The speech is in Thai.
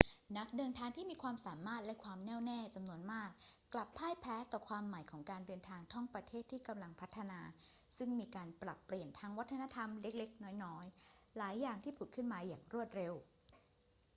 นักเดินทางที่มีความสามารถและความแน่วแน่จำนวนมากกลับพ่ายแพ้ต่อความใหม่ของการเดินทางท่องประเทศที่กำลังพัฒนา ซึ่งมีการปรับเปลี่ยนทางวัฒนธรรมเล็ก ๆ น้อย ๆ หลายอย่างที่ผุดขึ้นมาอย่างรวดเร็ว